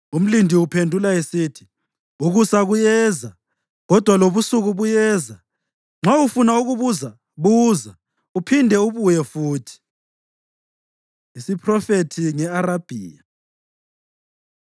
Umlindi uphendula esithi, “Ukusa kuyeza, kodwa lobusuku buyeza. Nxa ufuna ukubuza, buza; uphinde ubuye futhi.” Isiphrofethi Nge-Arabhiya